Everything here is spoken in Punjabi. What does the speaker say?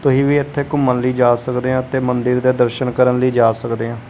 ਤੁਹੀ ਵੀ ਇੱਥੇ ਘੁੰਮਣ ਲਈ ਜਾ ਸਕਦੇ ਆਂ ਤੇ ਮੰਦਿਰ ਦੇ ਦਰਸ਼ਨ ਕਰਨ ਲਈ ਜਾ ਸਕਦੇ ਆਂ।